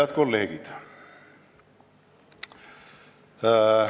Head kolleegid!